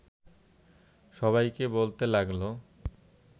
সবাইকে বলতে লাগল